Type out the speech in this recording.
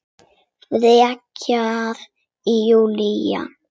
Frekar en Júlía.